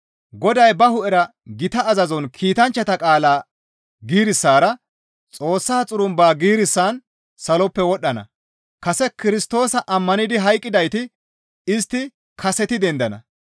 Goday ba hu7era gita azazon kiitanchchata halaqa giirissara Xoossa xurumba giirissan saloppe wodhdhana; kase Kirstoosa ammanidi hayqqidayti istti kaseti dendana.